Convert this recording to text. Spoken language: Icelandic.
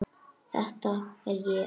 Þetta er ég.